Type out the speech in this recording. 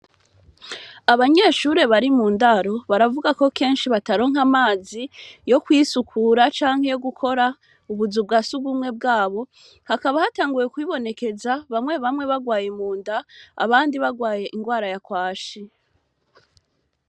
Abanyeshure bari mu ndaro baravuga ko kenshi bataronke amazi yo kwisukura canke yo gukora ubuzu bwa si ugumwe bwabo hakaba hatanguwe kuwibonekeza bamwe bamwe bagwaye mu nda abandi bagwaye ingwara yakwashi.